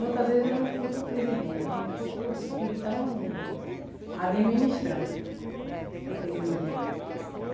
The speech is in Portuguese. Muitas vezes eu não culpo o presidente, eu culpo os que estão administrando aquele dinheiro.